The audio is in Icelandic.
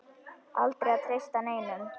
Aldrei að treysta neinum.